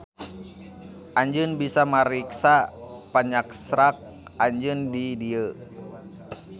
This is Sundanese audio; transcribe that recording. Anjeun bisa mariksa panyaksrak anjeun di dieu.